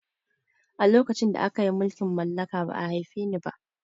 A lokacin da akayi mulkin mallaka ba'a haife ni ba